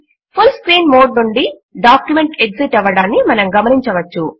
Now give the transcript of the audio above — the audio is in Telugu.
ఫుల్ స్క్రీన్ మోడ్ నుండి డాక్యుమెంట్ ఎగ్జిట్ అవ్వడము మనము గమనించవచ్చు